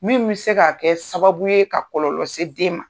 Min bɛ se ka kɛ sababu ye ka kɔlɔlɔ se den ma.